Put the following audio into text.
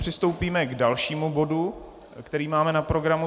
Přistoupíme k dalšímu bodu, který máme na programu.